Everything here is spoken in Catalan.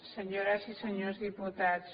senyores i senyors diputats